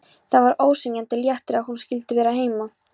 Það var ósegjanlegur léttir að hún skyldi vera heima.